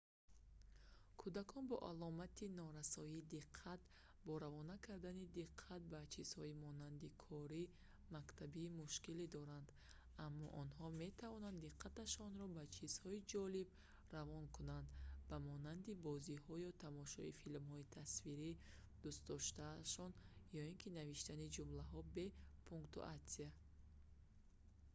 кӯдакон бо аломати норасоии диққат бо равона кардани диққат ба чизҳои монанди кори мактабӣ мушкилӣ доранд аммо онҳо метавонанд диққаташонро ба ҷизҳои ҷолиб равона кунанд ба монанди бозиҳо ё тамошои филмҳои тасвирии дӯстдостаашон ё ки навиштани ҷумлаҳо бе пунктуатсия